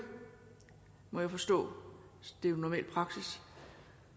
må jeg forstå det er jo normal praksis